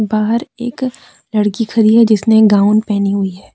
बाहर एक लड़की खड़ी है जिसने गाउन पहनी हुई है।